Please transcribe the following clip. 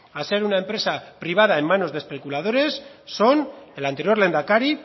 a ser una empresa privada en manos de especuladores son el anterior lehendakari